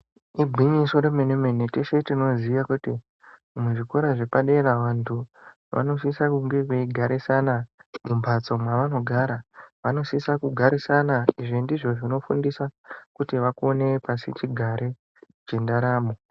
Igwinyiso remene-mene, teshe tinoziye kuti muzvikora zvepadera vantu vanosise kunge veigarisana mumhatso mwevanogara, vanosisa kugarisana, izvi ndizvo zvinofundisa kuti vakone pasichigare chendaramo.